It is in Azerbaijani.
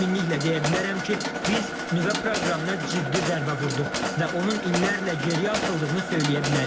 Həminliklə deyə bilərəm ki, biz nüvə proqramına ciddi zərbə vurduq və onun illərlə geriyə atıldığını söyləyə bilərik.